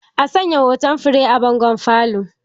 A sanya hoton fure a bangon falo